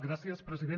gràcies president